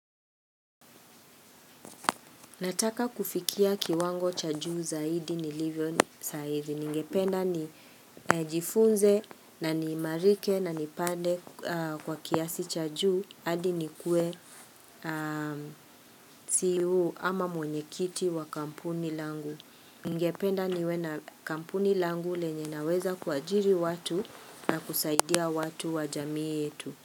Nataka kufikia kiwango cha juu zaidi nilivyo sahizi. Ningependa ni jifunze na niimarike na nipande kwa kiasi cha juu hadi nikue ceo ama mwenye kiti wa kampuni langu. Ningependa niwe na kampuni langu lenye naweza kuajiri watu na kusaidia watu wa jamii yetu.